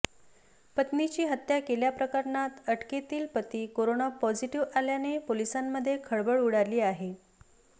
पत्नीची हत्या केल्याप्रकरणात अटकेतील पती करोना पॉझिटिव्ह आल्याने पोलिसांमध्ये खळबळ उडाली आहे